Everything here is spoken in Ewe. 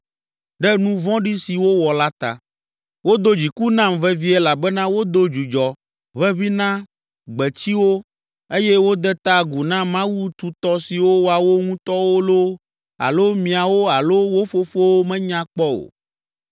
ɖe nu vɔ̃ɖi si wowɔ la ta. Wodo dziku nam vevie elabena wodo dzudzɔ ʋeʋĩ na gbetsiwo eye wode ta agu na mawu tutɔ siwo woawo ŋutɔwo loo, alo miawo alo wo fofowo menya kpɔ o.